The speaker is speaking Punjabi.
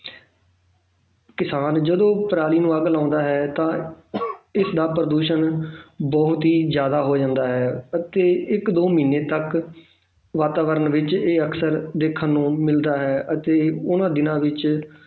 ਕਿਸਾਨ ਜਿਹੜੇ ਪਰਾਲੀ ਨੂੰ ਅੱਗ ਲਾਉਂਦਾ ਹੈ ਤਾਂ ਇਸਦਾ ਪ੍ਰਦੂਸ਼ਣ ਬਹੁਤ ਹੀ ਜ਼ਿਆਦਾ ਹੋ ਜਾਂਦਾ ਹੈ ਅਤੇ ਇੱਕ ਦੋ ਮਹੀਨੇ ਤੱਕ ਵਾਤਾਵਰਣ ਵਿੱਚ ਇਹ ਅਕਸਰ ਦੇਖਣ ਨੂੰ ਮਿਲਦਾ ਹੈ ਅਤੇ ਉਹਨਾਂ ਦਿਨਾਂ ਵਿੱਚ